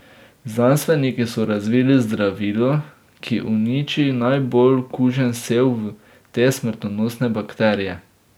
Znanstveniki so razvili zdravilo, ki uniči najbolj kužen sev te smrtonosne bakterije.